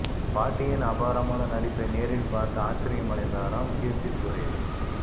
பாட்டியின் அபாரமான நடிப்பை நேரில் பார்த்து ஆச்சரியம் அடைந்தாராம் கீர்த்தி சுரேஷ்